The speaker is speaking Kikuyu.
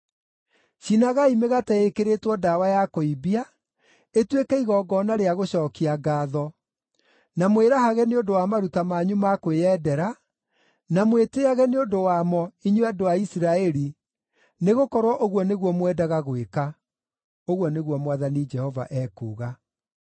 Cinagai mĩgate ĩĩkĩrĩtwo ndawa ya kũimbia, ĩtuĩke igongona rĩa gũcookia ngaatho, na mwĩrahage nĩ ũndũ wa maruta manyu ma kwĩyendera, na mwĩtĩĩage nĩ ũndũ wamo, inyuĩ andũ a Isiraeli, nĩgũkorwo ũguo nĩguo mwendaga gwĩka,” ũguo nĩguo Mwathani Jehova ekuuga.